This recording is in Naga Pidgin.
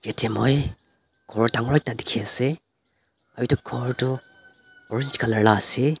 etia moi ghor dangor ekta dekhi ase etu ghor tu colour laga ase.